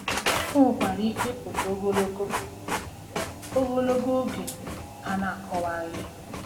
O nwekwara ike ịpụta ogologo, ogologo, oge a na-akọwaghị.